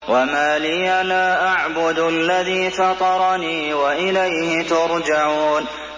وَمَا لِيَ لَا أَعْبُدُ الَّذِي فَطَرَنِي وَإِلَيْهِ تُرْجَعُونَ